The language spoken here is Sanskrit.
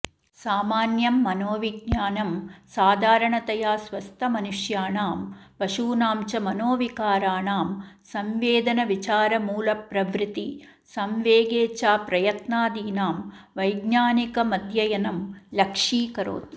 सामान्यं मनोविज्ञानं साधारणतया स्वस्थमनुष्याणां पशूनाञ्च मनोविकाराणां संवेदनविचारमूलप्रवृत्तिसंवेगेच्छाप्रयत्नादीनां वैज्ञानिकमध्ययनं लक्ष्यीकरोति